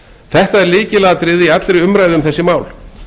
þetta er lykilatriði í allri umræðu um þessi mál